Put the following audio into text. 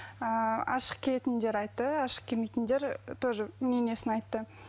ыыы ашық киетіндер айтты ашық кимейтіндер тоже мнениесін айтты